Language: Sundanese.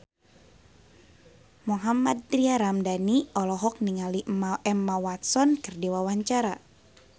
Mohammad Tria Ramadhani olohok ningali Emma Watson keur diwawancara